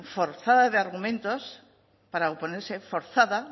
forzada de argumentos para oponerse forzada